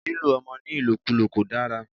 Lílo ọmọ ní ìlòkúlò kò dára.